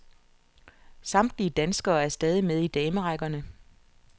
Samtlige danskere er stadig med i damerækkerne.